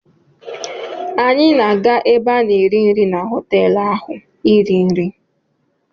Anyị na-aga ebe a na-eri nri na họtelụ ahụ iri nri.